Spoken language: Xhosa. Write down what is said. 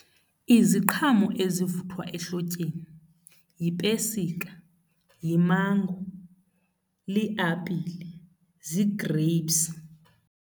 Iziqhamo ezivuthwa ehlotyeni yipesika, yimango, liapile, zii-grapes.